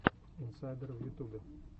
инсайдер в ютубе